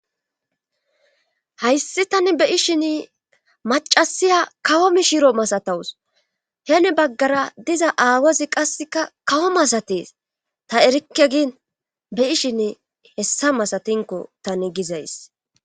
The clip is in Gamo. Hayssi tani be ishin macasiya kawo mishiro masatawus heeni baggara diza aawozi qasseka kawo masates ta erikke giin be'ishin hessa masatinko tani gizays.